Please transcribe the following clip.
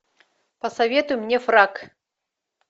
посоветуй мне фрак